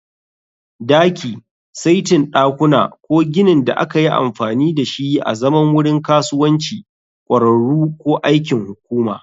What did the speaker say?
Daki, saitin ɗakuna, ko ginin da aka yi amfani da shi azaman wurin kasuwanci, ƙwararru, ko aikin hukuma